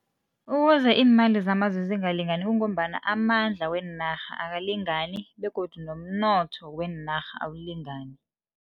Ukuze iimali zamazwe zingalingani kungombana, amandla weenarha akalingani begodu nomnotho weenarha awulingani.